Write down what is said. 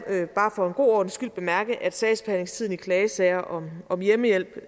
bare for en god ordens skyld bemærke at sagsbehandlingstiden i klagesager om om hjemmehjælp